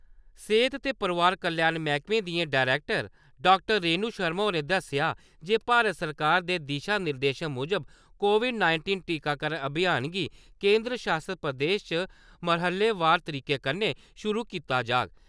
सेह्त ते परोआर कल्याण मैह्कमे दियां डरैक्टर डाक्टर रेणु शर्मा होरें दस्सेआ जे भारत सरकार दे दिशा-निर्देशें मुजब, कोविड-नाइटींन टीकाकरण अभियान गी केंदर शासत प्रदेश च मरह्लेवार तरीके कन्नै शुरू कीता जाह्ग।